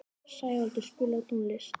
Sævaldur, spilaðu tónlist.